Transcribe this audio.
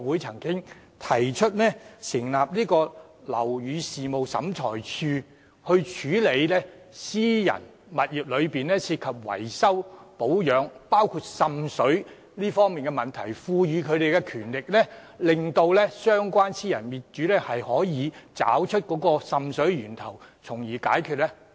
即成立樓宇事務審裁處以處理私人物業的維修、保養問題，包括滲水問題，並賦予審裁處權力，幫助私人業主找出滲水源頭，從而解決問題。